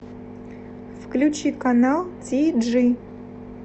включи канал ти джи